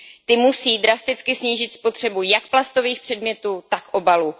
Ty musí drasticky snížit spotřebu jak plastových předmětů, tak obalů.